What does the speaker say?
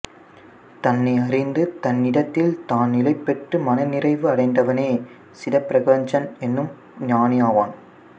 தன்னை அறிந்து தன்னிடத்தில் தான் நிலை பெற்று மனநிறைவு அடைந்தவனே சிதப்பிரக்ஞன் எனும் ஞானி ஆவான்